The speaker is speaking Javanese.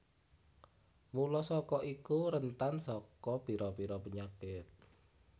Mula saka iku rentan saka pira pira penyakit